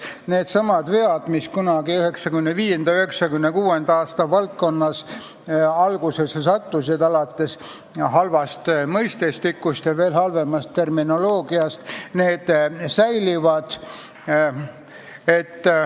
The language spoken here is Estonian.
Need vead, mis kunagi 1995. või 1996. aastal seadusesse sattusid, alates halvast mõistestikust ja veel halvemast terminoloogiast, säilivad.